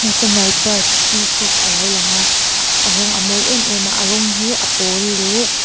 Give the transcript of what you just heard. national park peacock a lo langa a rawng a mawi em em a a rawng hi a pawl leh--